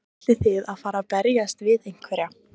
Ætlið þið að fara að berjast við einhverja?